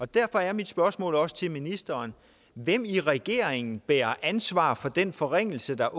derfor er mit spørgsmål også til ministeren hvem i regeringen bærer ansvar for den forringelse der